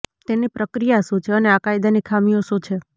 તેની પ્રક્રિયા શું છે અને આ કાયદાની ખામીઓ શું છે